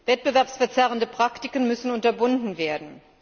Wettbewerbsverzerrende Praktiken müssen unterbunden werden.